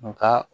Nga